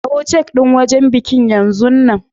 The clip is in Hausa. Kawo cak din wajen bikin yanzun nan!